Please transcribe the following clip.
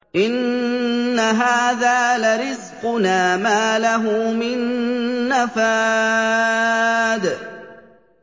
إِنَّ هَٰذَا لَرِزْقُنَا مَا لَهُ مِن نَّفَادٍ